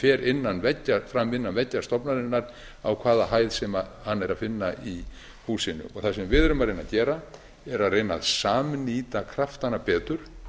fer fram innan veggja stofnunarinnar á hvaða hæð sem hana er að finna í húsinu á sem við erum að reyna að gera er að reyna að samnýta kraftana betur